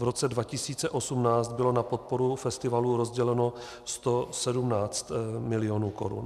V roce 2018 bylo na podporu festivalu rozděleno 117 mil. korun.